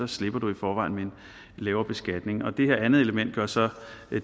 slipper du i forvejen med en lavere beskatning og det her andet element gør så